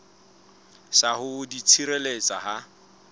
sa ho di tshireletsa ha